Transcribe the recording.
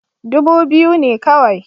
Dubu biyu ne kawai